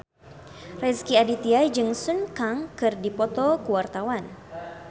Rezky Aditya jeung Sun Kang keur dipoto ku wartawan